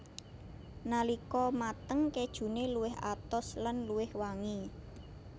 Nalika mateng kejune luwih atos lan luwih wangi